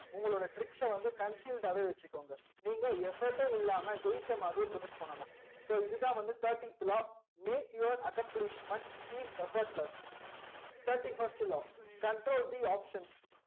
உங்க லோட tricks ச வந்து conshield டாவே வச்சிகோங்க நீங்க effort டே இல்லாம ஜெய்சா மாதிரி project பண்ணனும் இதுதா வந்து thirty த் law make your accomplishment seem effortless thirty first law control the options